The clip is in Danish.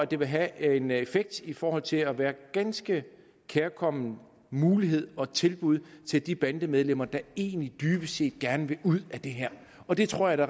det vil have en effekt i forhold til at være en ganske kærkommen mulighed og tilbud til de bandemedlemmer der egentlig dybest set gerne vil ud af det her og det tror jeg at